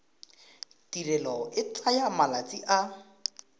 tirelo e tsaya malatsi a